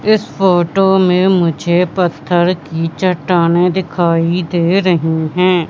इस फोटो में मुझे पत्थर की चट्टाने दिखाई दे रही हैं।